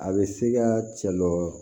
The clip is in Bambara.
A bɛ se ka cɛ dɔ